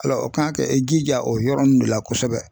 Ala o kan i jija o yɔrɔnin de la kosɛbɛ